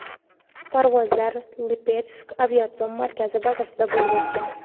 Parvozlar Lipetsk aviatsion markazi bazasida bo‘lib o‘tgan.